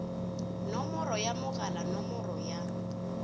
nomoro ya mogala nomoro ya